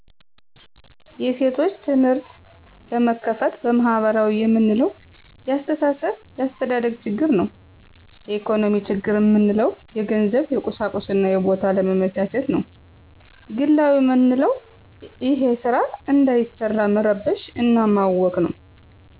የሴቶች ትምህርቶች ለመክፈት በማህበራዊ የምንለው የአስተሳሰብ የአስተዳደግ ችግር ነው የኢኮኖሚ ችግር ምንለው የገንዘብ የቁሳቁስና የቦታ አለመመቻቸት ነዉ ግላዊ መንለዉ እሄ ስራ እንዳይሰራ መረበሽ እና ማወክ ነው